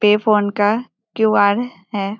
पे फोन का क्यू.आर. है।